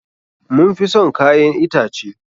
Mun fi son kayan itace.